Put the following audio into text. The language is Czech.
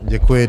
Děkuji.